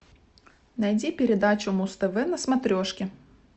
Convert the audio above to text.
найди передачу муз тв на смотрешке